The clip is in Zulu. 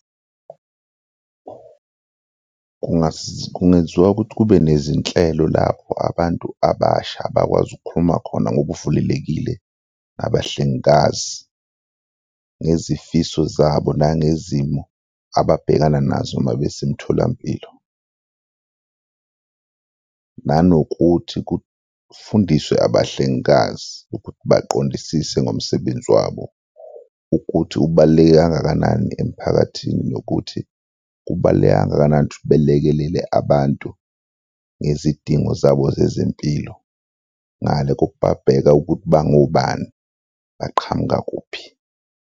Kungenziwa ukuthi kube nezinhlelo lapho abantu abasha bakwazi ukukhuluma khona ngobuvulelekile nabahlengikazi ngezifiso zabo nangezimo ababhekana nazo mabesemtholampilo nanokuthi kufundiswe abahlengikazi ukuthi baqondisise ngomsebenzi wabo ukuthi ubaluleke kangakanani emphakathini nokuthi kubaluleke kangakanani ukuthi belekelele abantu ngezidingo zabo zezempilo ngale kokubabheka ukuthi bangobani, baqhamuka kuphi.